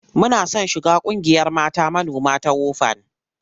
Muna son shiga ƙungiyar mata manoma ta WOFAN.